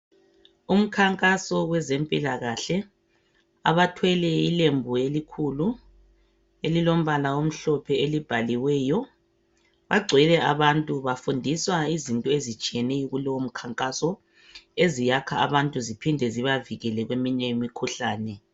Kulomkhankaso wezempilakahle , bakhona abathwele ilembu elikhulu elimhlophe elibhaliweyo. Kugcwele abantu abafundiswa izinto ezinengi ezitshiyeneyo kuleyondawo, eziyakha abantu lokubavikela emkhuhlaneni.